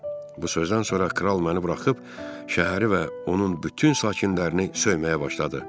Bu sözdən sonra kral məni buraxıb şəhəri və onun bütün sakinlərini söyməyə başladı.